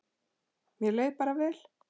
Mér leið bara vel.